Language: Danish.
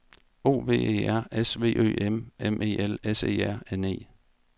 O V E R S V Ø M M E L S E R N E